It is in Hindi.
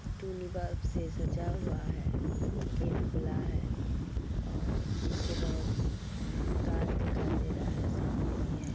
सजा हुआ है। गेट खुला है और पीछे बोहोत गाज दिखाई दे रहा है सामने भी हैं